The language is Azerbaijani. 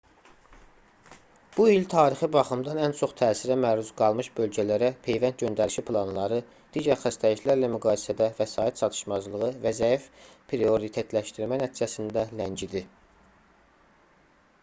bu il tarixi baxımdan ən çox təsirə məruz qalmış bölgələrə peyvənd göndərişi planları digər xəstəliklərlə müqayisədə vəsait çatışmazlığı və zəif prioritetləşdirmə nəticəsində ləngidi